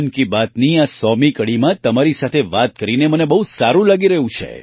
મન કી બાતની આ 100મી કડીમાં તમારી સાથે વાત કરીને મને બહુ સારું લાગી રહ્યું છે